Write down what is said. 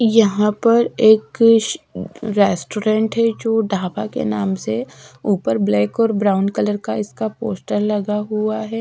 यहां पर एक श रेस्टोरेंट है जो ढाबा के नाम से ऊपर ब्लैक और ब्राउन का इसका पोस्टर लगा हुआ है।